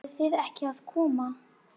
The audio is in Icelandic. Eruð þið ekki að koma?